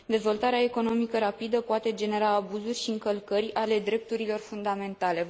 Dezvoltarea economică rapidă poate genera abuzuri și încălcări ale drepturilor fundamentale.